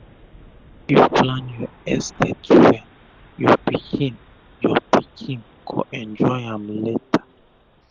if u plan ur estate wel ur pikin ur pikin go enjoy am lata